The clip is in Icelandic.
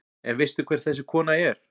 En veistu hver þessi kona er?